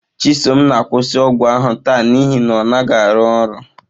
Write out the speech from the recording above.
Chisom na-akwụsị ọgwụ ahụ taa n'ihi na ọ naghị arụ ọrụ.